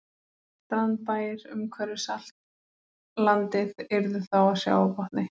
Strandbæir umhverfis allt landið yrðu þá á sjávarbotni.